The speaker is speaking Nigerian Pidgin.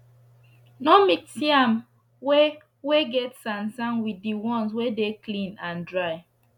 no mix yam wey wey get sand sand with d ones wey dey clean and dry